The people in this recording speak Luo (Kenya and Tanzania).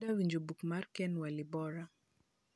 adwa winjo buk mar ken walibora